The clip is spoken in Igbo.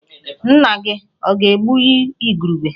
Nna-gi ọ̀ ga-egbu igurube?